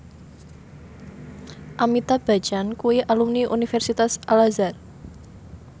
Amitabh Bachchan kuwi alumni Universitas Al Azhar